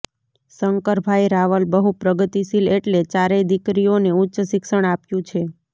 શંકરભાઇ રાવલ બહુ પ્રગતિશીલ એટલે ચારેય દીકરીઓને ઉચ્ચ શિક્ષણ આપ્યું છે